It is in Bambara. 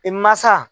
I mansa